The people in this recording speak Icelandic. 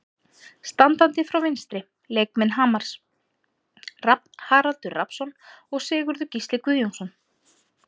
Standandi frá vinstri: Leikmenn Hamars, Rafn Haraldur Rafnsson og Sigurður Gísli Guðjónsson.